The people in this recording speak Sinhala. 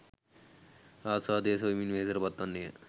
ආස්වාදය සොයමින් වෙහෙසට පත්වන්නේය.